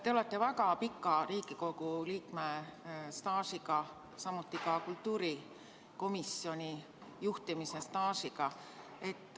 Te olete väga pika Riigikogu liikme staažiga, samuti ka kultuurikomisjoni juhtimise staažiga.